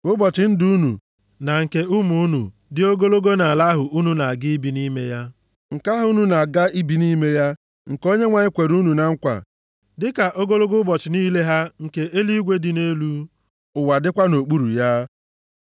Ka ụbọchị ndụ unu na nke ụmụ unu dị ogologo nʼala ahụ unu na-aga ibi nʼime ya, nke Onyenwe anyị kwere nna unu na nkwa. Dịka ogologo ụbọchị niile ha nke eluigwe dị nʼelu, ụwa dịkwa nʼokpuru ya.